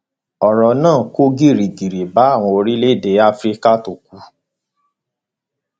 ọrọ náà kò gìrìgìrì bá àwọn olórí ilẹ afrika tó kù